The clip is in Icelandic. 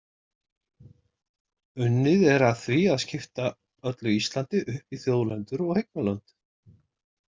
Unnið er að því að skipta öllu Íslandi upp í þjóðlendur og eignarlönd.